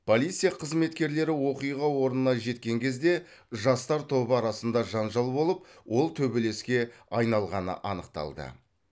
полиция қызметкерлері оқиға орнына жеткен кезде жастар тобы арасында жанжал болып ол төбелеске айналғаны анықталды